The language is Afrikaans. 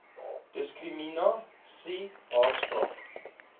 diskrimina sie haatspraak